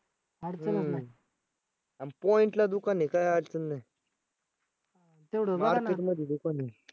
आणि point दुकान आहे काय अडचण नाही. market मध्ये दुकान आहे.